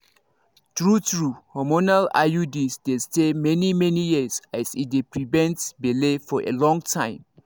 true-true hormonal iuds dey stay many-many years as e dey prevent belle for a long time.